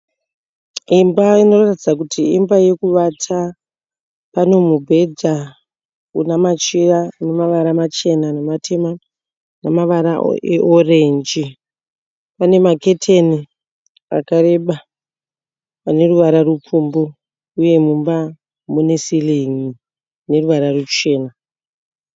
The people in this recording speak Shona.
Imba inoratidza kuti Imba yekuvata . Pane mubhedha unamachira ane mavara machena nematema ne mavara e orange . Pane maketeni akareba ane ruvara rupfumbu ,uye mumba mune siringi ine ruvara ruchena .